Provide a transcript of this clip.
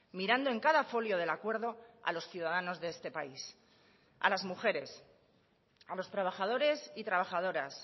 mirando en cada folio del acuerdo a los ciudadanos de este país a las mujeres a los trabajadores y trabajadoras